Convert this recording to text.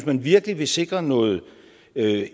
man virkelig vil sikre noget